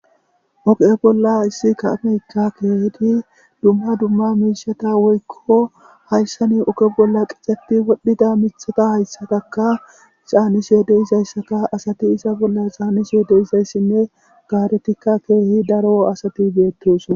oqe bolla issi kaameykka keehidi dumma dumma miishata woykko hayssani oke bolla qixxeti wodhdhida mithata hayssataka caanisye deizayssaka asati isa bolla xaaniso deizayssinne gaaretikka keehi daro asati beettosa